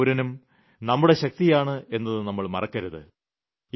ഓരോ പൌരനും നമ്മുടെ ശക്തിയാണ് എന്നത് നമ്മൾ മറക്കരുത്